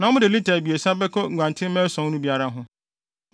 na mode lita abiɛsa bɛka nguantenmma ason no biara ho.